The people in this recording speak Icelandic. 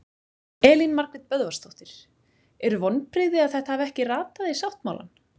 Elín Margrét Böðvarsdóttir: Eru vonbrigði að þetta hafi ekki ratað í sáttmálann?